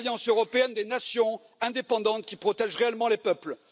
faut une alliance européenne des nations indépendantes, qui protège réellement les peuples.